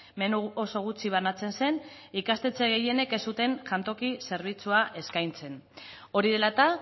menu oso gutxi banatzen zen ikastetxe gehienek ez zuten jantoki zerbitzua eskaintzen hori dela eta